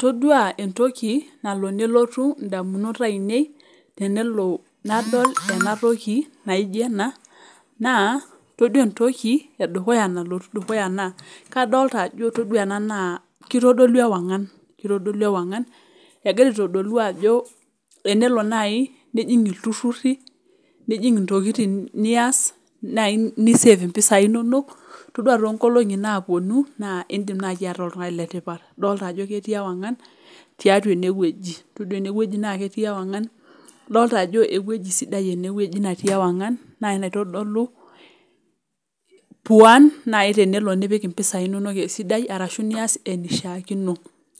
Todua entoki nalo nelotu indamunot ainei tenelo nadol enatoki naijo ena, naa, toduo entoki edukuya nalotu dukuya naa, kadolta ajo todua ena nas kitodolu ewang'an. Kitodolu ewang'an. Egira aitodolu ajo tenelo nai nijing' ilturrurri, nijing' intokiting nias ni save impisai inonok, todua tonkolong'i naponu, naa idim nai ataa oltung'ani letipat. Idolta ajo ketii ewang'an, tiatua enewueji. Todua enewueji na ketii ewang'an, idolta ajo ewueji sidai enewueji natii ewang'an, nai naitodolu puan nai tenelo nipik impisai inonok esidai, arashu nias enaishaakino.